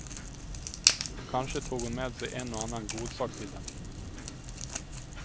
Och kanske tog hon med sig en och annan godsak till dem.